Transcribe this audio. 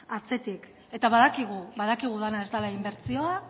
atzetik eta badakigu badakigu dena ez dela inbertsioa